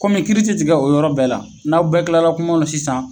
Kɔmi kiiri ti tigɛ o yɔrɔ bɛɛ la, n'aw bɛɛ kilara kuma na sisan